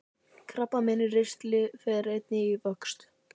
Krabbamein í ristli fer einnig í vöxt.